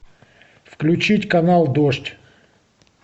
включить канал дождь